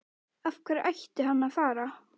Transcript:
Af hverju ætti hann að fara?